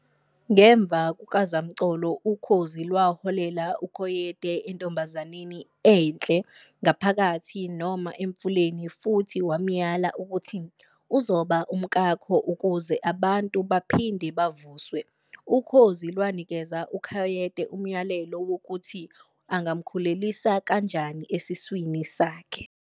Ngemva kukazamcolo, ukhozi lwaholela uCoyote entombazaneni enhle ngaphakathi noma emfuleni futhi wamyala ukuthi "uzoba umkakho ukuze abantu baphinde bavuswe."Ukhozi lwanikeza uCoyote umyalelo wokuthi angamkhulelisa kanjani esiswini sakhe.